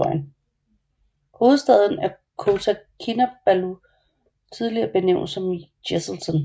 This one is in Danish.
Hovedstaden er Kota Kinabalu tidligere benævnt som Jesselton